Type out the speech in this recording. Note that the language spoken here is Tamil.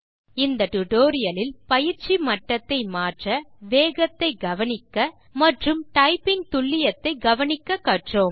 இந்த டுடோரியலில் பயிற்சி மட்டத்தை மாற்ற வேகத்தை கவனிக்க மற்றும் டைப்பிங் துல்லியத்தை கவனிக்க கற்றோம்